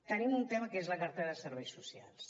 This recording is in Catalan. tenim un tema que és la cartera de serveis socials